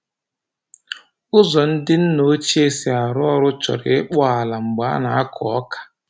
Ụzọ ndị nna ochie si arụ ọrụ chọrọ ịkpụ ala mgbe a na-akụ ọka.